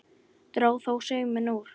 Dró þó sauminn úr.